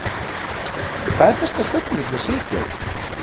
Hvað er besta stellingin til að sitja í?